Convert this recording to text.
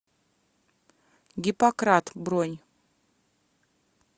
гиппократ бронь